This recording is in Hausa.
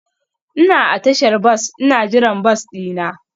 Ina a tashar bas ina jiran bas dina.